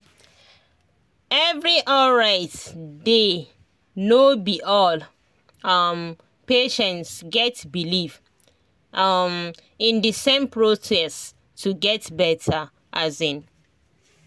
every alright day no be all um patients get believe um in the same process to get better um